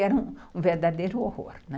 Era um verdadeiro horror, né?